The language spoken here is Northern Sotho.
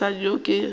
le mosadi yo a kego